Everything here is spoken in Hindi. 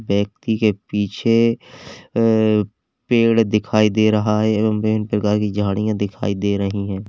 व्यक्ति के पीछे अ पेड़ दिखाई दे रहा है एवं विभिन्न प्रकार की झाड़ियां दिखाई दे रही हैं।